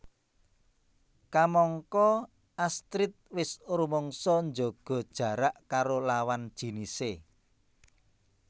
Kamangka Astrid wis rumangsa njaga jarak karo lawan jinisé